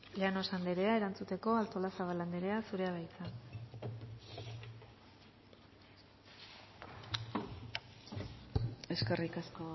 llanos anderea erantzuteko artolazabal anderea zurea da hitza eskerrik asko